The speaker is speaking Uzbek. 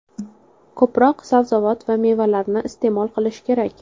Ko‘proq sabzavot va mevalarni iste’mol qilish kerak.